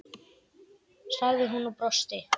sagði hún og brosti.